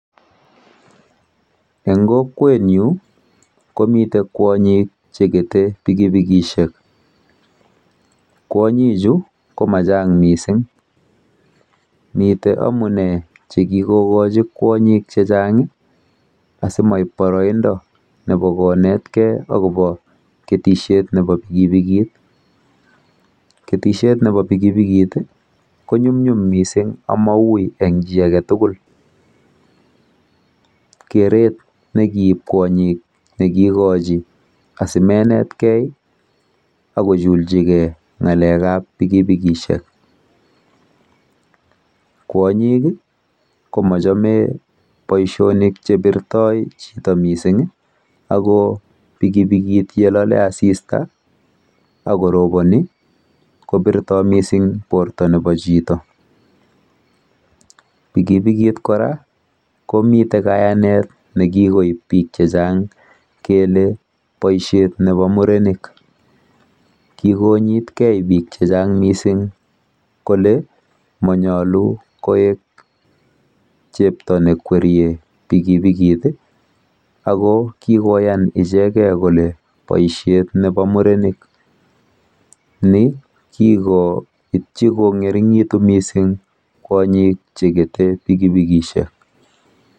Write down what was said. Eng kokwetnyu komite kwonyik chekete pikipikisiek. Kwonyichu ko machang mising. Mitei omune chekikokoji kwonyik chechang asimoib boroindo nebo konetkei akobo ketisietab pikipikit. Ketisiet nebo pikipikit konyumnyum mising amaui eng chi age tugul. Keret nekikoib kwonyik nekikokochi asimenetkei akojuljigei ng'alek ab pikipikisiek. Kwonyik komochome boisionik chepirto chito mising ako pikipikit yelale mising asista akoronei kobirto mising borto nebo chito. Pikipikit komite kora kayanet nekikoib biik chechang kele boisiet nebo murenik. Kikonyitkei mising biik chechang kole monyolu koek chepto nekwerie pikipikit ako kikoyaan ichegei kole boisiet nebo murenik. Ni kikoipchi kong'ering'itu mising kwonyik chekete pikipikisiek.